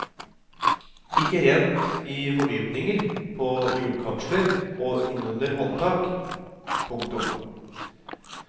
Ikke rent i fordypninger på hjulkapsler og innunder håndtak. punktum